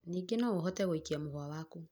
ningĩ noũhote gũikia mũhũa waku